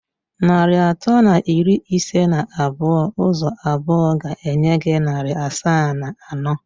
Narị atọ na iri ise na abụọ ụzọ abụọ ga-enye gị narị asaa na anọ.